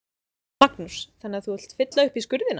Magnús: Þannig að þú vilt fylla upp í skurðina?